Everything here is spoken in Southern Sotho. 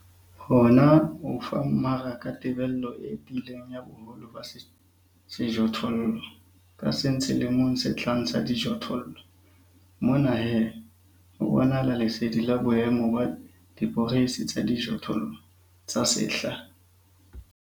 Hona ho fa mmaraka tebello e tiileng ya boholo ba sejothollo ka seng selemong se tlang sa dijothollo. Mona he, ho bonahala lesedi la boemo ba diporeisi tsa dijothollo tsa sehla.